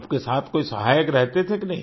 आपके साथ कोई सहायक रहते थे कि नहीं